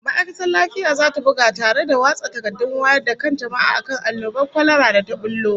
Ma'aikatar lafiya zata buga tare da watsa takardun wayar da kan jama'a akan annobar kwalara da ta bullo